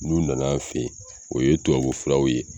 N'u nana fɛ ye, o ye tubabu filaw ye.